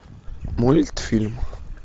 мультфильм